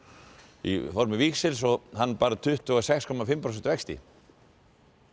í formi hann bar tuttugu og sex komma fimm prósenta vexti